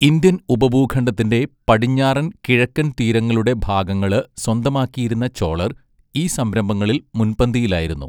Indian ഉപഭൂഖണ്ഡത്തിന്റെ പടിഞ്ഞാറൻ, കിഴക്കൻ തീരങ്ങളുടെ ഭാഗങ്ങള് സ്വന്തമാക്കിയിരുന്ന ചോളർ ഈ സംരംഭങ്ങളിൽ മുൻപന്തിയിലായിരുന്നു.